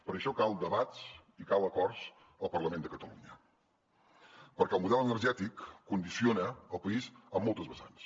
per això calen debats i calen acords al parlament de catalunya perquè el model energètic condiciona el país en moltes vessants